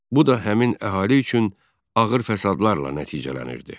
Bu da həmin əhali üçün ağır fəsadlarla nəticələnirdi.